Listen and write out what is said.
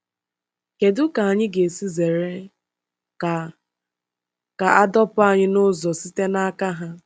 Kedu ka anyị ga-esi zere ka a ka a dọpụ anyị n’ụzọ site n’aka ha?